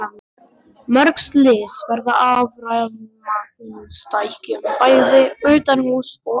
Mörg slys verða af rafmagnstækjum, bæði utanhúss og innan.